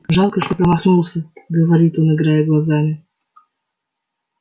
жалко что промахнулся говорит он играя глазами